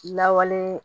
Lawale